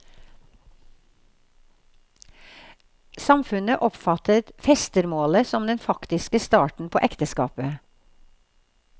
Samfunnet oppfattet festermålet som den faktiske starten på ekteskapet.